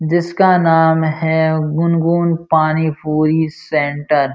जिस का नाम है गुनगुन पानी पूरी सेंटर --